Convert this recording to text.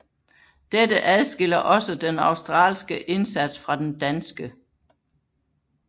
Dette adskiller også den australske indsats fra den danske